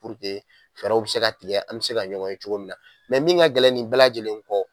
puruke fɛɛrɛ bi se ka tigɛ an be se ka ɲɔngɔn ye cogo min na mɛ min ka gɛlɛn ni bɛɛ lajɛlen kɔ